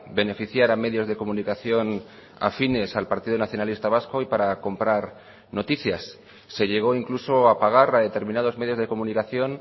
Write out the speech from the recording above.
beneficiar a medios de comunicación afines al partido nacionalista vasco y para comprar noticias se llegó incluso a pagar a determinados medios de comunicación